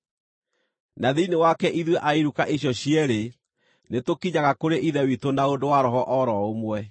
Na thĩinĩ wake ithuĩ a iruka icio cierĩ nĩtũkinyaga kũrĩ Ithe witũ na ũndũ wa Roho o ro ũmwe.